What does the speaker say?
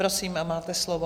Prosím, máte slovo.